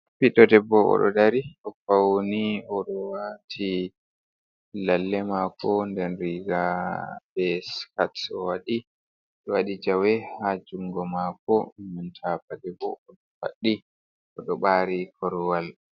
Ɓiɗdo debbo o ɗo dari, o fauni o ɗo wati lalle mako, nden riga be skirt o waɗi, o waɗi jawey ha jungo mako, nda paɗe bo o ɗo faddi o ɗo ɓari korwal.